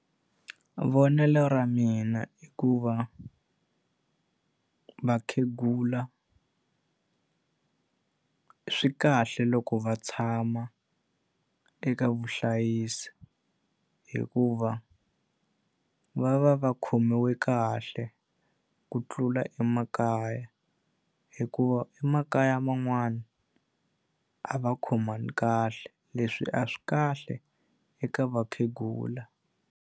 Vonelo ra mina i ku va vakhegula swi kahle loko va tshama eka vuhlayisi hikuva va va va khomiwe kahle ku tlula emakaya. Hikuva emakaya man'wani, a va khomani kahle. Leswi a swi kahle eka vakhegula.